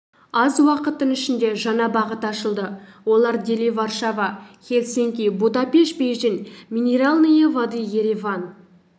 аз уақыттың ішінде жаңа бағыт ашылды олар дели варшава хелсинки будапеш бейжің минеральные воды ереван